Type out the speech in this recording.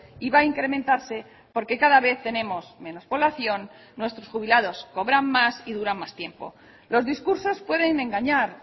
y va a incrementarse porque cada vez tenemos menos población nuestros jubilados cobran más y duran más tiempo los discursos pueden engañar